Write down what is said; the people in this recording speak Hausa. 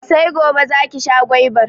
Sai gobe za ki sha gwaibar